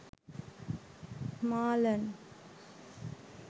marlen